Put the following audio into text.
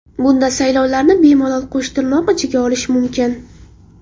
Bunda saylovlarni bemalol qo‘shtirnoq ichiga olish mumkin.